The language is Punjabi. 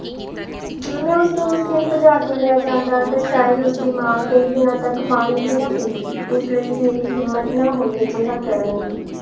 ਜੇ ਮੈਂ ਉਸ ਦਿਨ ਉਸਨੂੰ ਭਜਾ ਕੇ ਲੈ ਜਾਂਦਾ ਤੇ ਸ਼ਾਇਦ ਉਸ ਦੀ ਮਾਂ ਕਈ ਦਿਨਾਂ ਤੱਕ ਪਾਣੀ ਵੀ ਨਾ ਪੀਂਦੀ ਇਸ ਲਈ ਮੇਰੀ ਹਿੰਮਤ ਨਾ ਹੋਈ ਅਜਿਹਾ ਕਰਨ ਦੀ